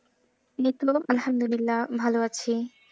লিখও আলহামদুবিল্লা ভালো আছি।